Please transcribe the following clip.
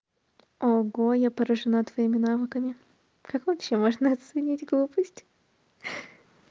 ого я поражена твоими навыками как вообще можно оценить глупость ха-ха